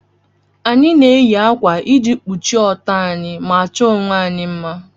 Anyị na-eyi ákwà iji kpuchie ọtọ anyị ma chọọ onwe anyị mma